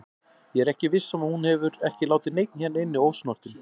Ég er viss um að hún hefur ekki látið neinn hérna inni ósnortinn.